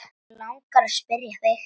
Mig langar að spyrja þig.